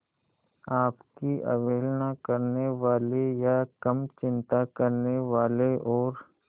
आपकी अवहेलना करने वाले या कम चिंता करने वाले और